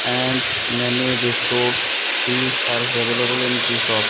and many biscuits teas are available in tea shop.